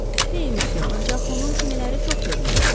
Xeyr, misiyə, ancaq onun kimiləri çox görmüşəm.